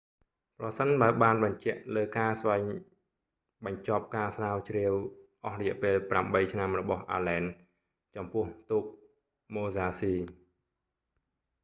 ប្រសិនបើបានបញ្ជាក់លើការស្វែងរបញ្ចប់ការស្រាវជ្រាវអស់រយៈពេលប្រាំបីឆ្នាំរបស់អាឡែន allen ចំពោះទូកម៉ូហ្សាស៊ី musashi